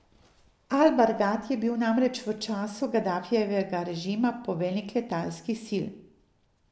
Al Bargati je bil namreč v času Gadafijevega režima poveljnik letalskih sil.